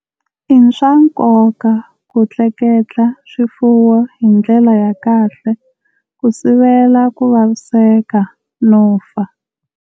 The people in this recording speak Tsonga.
I swa nkoka ku tleketla swifuwo hi ndlela ya kahle ku sivela ku vasiveska no fa.